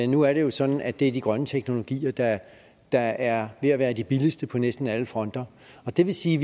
nu er det jo sådan at det er de grønne teknologier der der er ved at være de billigste på næsten alle fronter og det vil sige